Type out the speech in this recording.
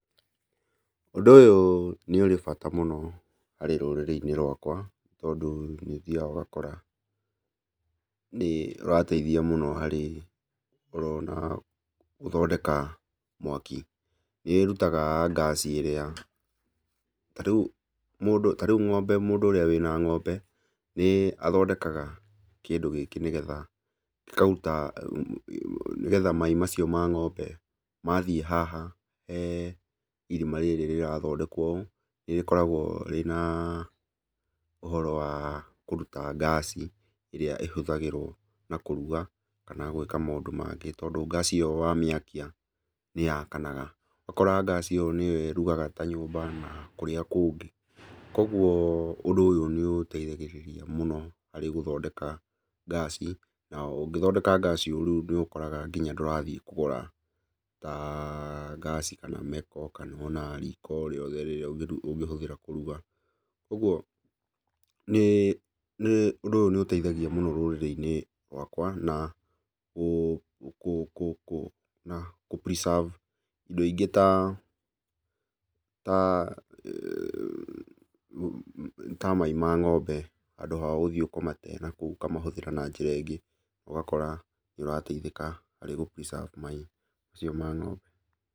Ũndũ ũyũ nĩũrĩ bata mũno harĩ rũrĩrĩ-inĩ rwakwa, tondũ nĩũthiaga ũgakora nĩũrateithia mũno harĩ ũrona gũthondeka mwaki. Nĩĩrutaga ngaci ĩrĩa ta rĩu mũndũ ng'ombe ta rĩu mũndũ ũrĩa wĩna ng'ombe nĩathondekaga kĩndũ gĩkĩ nĩgetha gĩkaruta, nĩgetha mai macio ma ng'ombe mathiĩ haha he irima rĩrĩ rĩrathondekwo ũũ, nĩrĩkoragwo rĩna ũhoro wa kũruta ngaci ĩrĩa ĩhũthagĩrwo na kũruga kana gwĩka maũndũ mangĩ tondũ ngaci ĩyo wamĩakia nĩyakanaga. Ũgakora ngaci ĩyo nĩyo ĩrugaga ta nyũmba na kũrĩa kũngĩ. Kuoguo ũndũ ũyũ nĩũteithagĩrĩria mũno harĩ gũthondeka ngaci na ũngĩthondeka ngaci ũũ rĩu nĩũkoraga nginya ndũrathiĩ kũgũra taa ngaci kana meko kana ona riko o rĩothe rĩrĩa ũngĩhũthĩra kũruga. Kuoguo nĩ nĩ ũndũ ũyũ nĩũteithagia mũno rũrĩrĩ-inĩ rwakwa na kũ na kũ preserve indo ingĩ ta mai ma ng'ombe handũ ha gũthiĩ kũmate nakũu ũkamahũthĩra na njĩra ĩngĩ, na ũgakora nĩũrateithĩka harĩ kũ preserve mai macio ma ng'ombe.